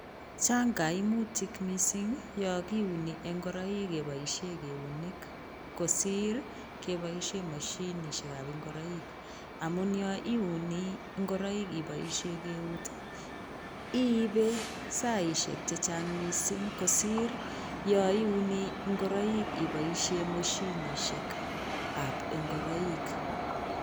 Chang kaimutik mising yokiuni ngoroik kepioshe keunek kosir kepoishe mashinishek ap ngoroik amun yoiuni ngoroik ipoishe keut iipe saishek chechang mising kosir yoiuni ngoroik ipoishe moshinishek ap ngoroik